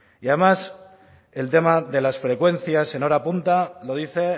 y además el tema de las frecuencias en hora punta lo dice